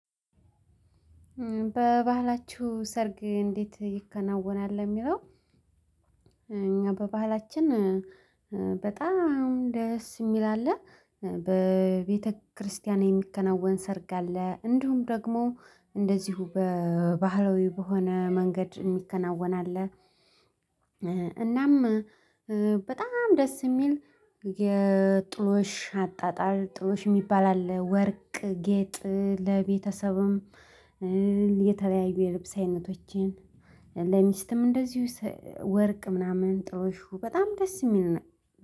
በባህላችሁ ሰርግ እንዴት ይከናወናል? የሚለው እኛ በባህላችን በጣም ደስ የሚል አለ በቤተክርስቲያን የሚከናወን ሰርግ አለ እንደውም ደግሞ እንደዚሁ በባህላዊ በሆነ መንገድ የሚከናወን አለ። እናም በጣም ደስ የሚል የጥሎሽ አጣጣር ጥሎሽ የሚባል አለ። ወርቅ ጌጥ ለቤተሰብም የተለያዩ የልብስ አይነቶችን ለሚስትም እንደዚሁ ወርቅ ምናምን ጥሎሹ በጣም ደስ የሚል ነው።